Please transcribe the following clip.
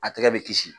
A tɛgɛ bɛ kisi